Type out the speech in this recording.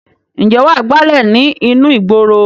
Ǹjẹ́ wà á gbálè ní inú ìgboro?